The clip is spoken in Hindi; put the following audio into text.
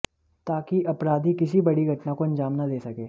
ताकि अपराधी किसी बड़ी घटना को अंजाम न दे सके